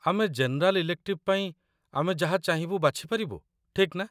ଆମେ general elective ପାଇଁ ଆମେ ଯାହା ଚାହିଁବୁ ବାଛି ପାରିବୁ, ଠିକ୍ ନା?